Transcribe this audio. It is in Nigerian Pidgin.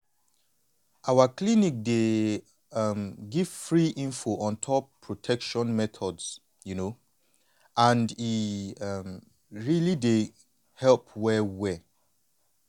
our clinic dey um give free info on top protection methods you know and e um really dey help well well